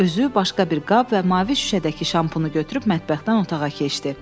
Özü başqa bir qab və mavi şüşədəki şampunu götürüb mətbəxdən otağa keçdi.